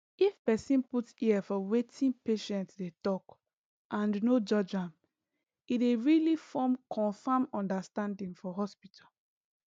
if person put ear for wetin patient dey talk and no judge am e dey really form confam understanding for hospital